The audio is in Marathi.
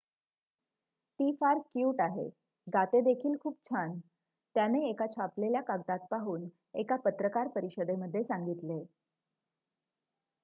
"""ती फार क्यूट आहे गाते देखील खूप छान" त्याने एका छापलेल्या कागदात पाहून एका पत्रकार परिषदेमध्ये सांगितले.